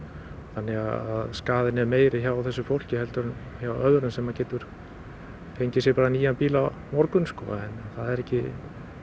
þannig að skaðinn er meiri hjá þessu fólki heldur en hjá öðrum sem getur fengið sér nýjan bíl á morgun en það er ekki